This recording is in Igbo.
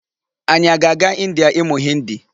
Anyị a ga-aga India ịmụ Hindi?